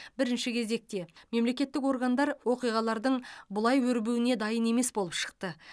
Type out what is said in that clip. бірінші кезекте мемлекеттік органдар оқиғалардың бұлай өрбуіне дайын емес болып шықты